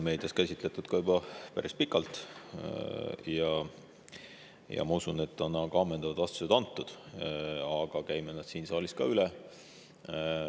Eks seda ole meedias juba päris pikalt käsitletud ja ma usun, et on ka ammendavad vastused antud, aga käime selle siis siin saalis ka üle.